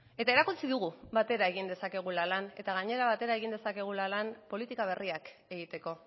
eta erakutsi dugu batera egin dezakegula lan eta gainera batera egin dezakegula lan politika berriak egiteko